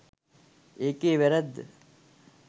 ඒකේ වැරැද්ද.